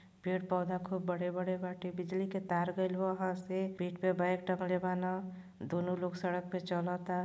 पेड़ पौधा खूब बड़े-बड़े बाटे बिजली के तार गएल बा वहां से पीठ पे बेग टँगले वा ना दोनों लोग सड़क पे चलता।